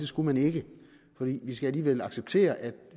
skulle man ikke for vi skal alligevel acceptere at